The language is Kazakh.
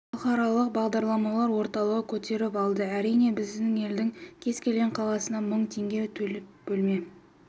халықаралық бағдарламалар орталығы көтеріп алды әрине біздің елдің кез келген қаласынан мың теңге төлеп бөлме